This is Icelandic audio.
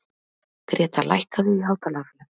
Greta, lækkaðu í hátalaranum.